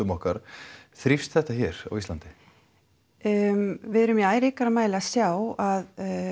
okkar þrífst þetta hér á Íslandi um við erum í æ ríkari mæli að sjá að